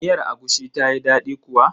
Miyar agushin tayi daɗi kuwa?